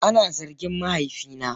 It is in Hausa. Ana zargin mahaifina.